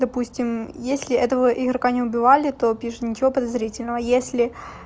допустим если этого игрока не убивали то пишет ничего подозрительного если